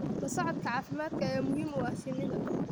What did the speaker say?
La socodka caafimaadka ayaa muhiim u ah shinnida.